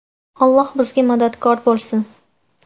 Alloh bizga madadkor bo‘lsin.